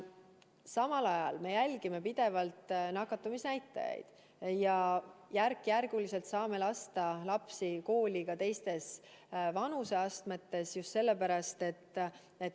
Samal ajal me jälgime pidevalt nakatumisnäitajaid ja järk-järgult saame lasta lapsi kooli ka teistes vanuseastmetes.